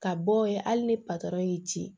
Ka bɔ yen hali ni patɔrɔn y'i ci